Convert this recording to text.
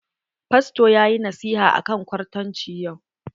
Fasto ya yi nasiha akan kwartanci yau.